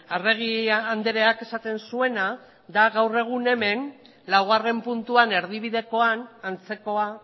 arregi andreak esaten zuena da gaur egun hemen laugarren puntuan erdibidekoan antzekoa